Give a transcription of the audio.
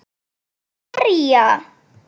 Hver var að berja?